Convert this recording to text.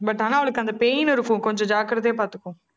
but ஆனா, அவளுக்கு அந்த pain இருக்கும். கொஞ்சம் ஜாக்கிரதையா பாத்துக்கோ